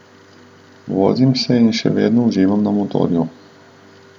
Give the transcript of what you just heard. Vozim se in še vedno uživam na motorju.